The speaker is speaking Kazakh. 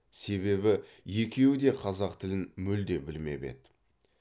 себебі екеуі де қазақ тілін мүлде білмеп еді